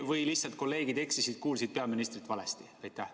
Või lihtsalt kolleegid eksisid, kuulsid peaministrit valesti?